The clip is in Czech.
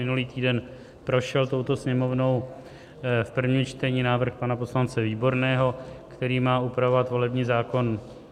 Minulý týden prošel touto Sněmovnou v prvním čtení návrh pana poslance Výborného, který má upravovat volební zákon.